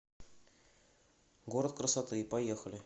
город красоты поехали